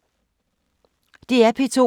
DR P2